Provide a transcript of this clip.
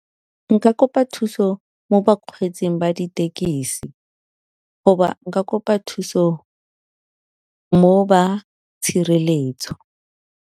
Nka kopa thuso mo bakgweetsing ba dithekisi goba nka kopa thuso mo ba tshireletso.